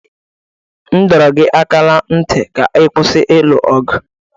M dọrọ gị aka ná ntị ka ị kwụsị ilu ọgụ!